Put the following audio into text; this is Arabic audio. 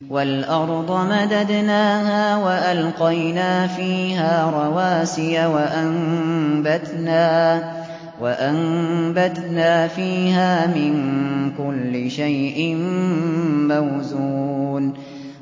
وَالْأَرْضَ مَدَدْنَاهَا وَأَلْقَيْنَا فِيهَا رَوَاسِيَ وَأَنبَتْنَا فِيهَا مِن كُلِّ شَيْءٍ مَّوْزُونٍ